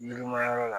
Yirimayɔrɔ la